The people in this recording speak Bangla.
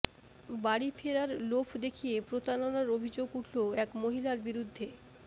বাড়ি ফেরার লোভ দেখিয়ে প্রতারণার অভিযোগ উঠল এক মহিলার বিরদ্ধে